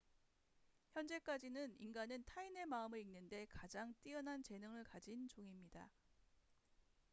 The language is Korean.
현재까지는 인간은 타인의 마음을 읽는데 가장 뛰어난 재능을 가진 종입니다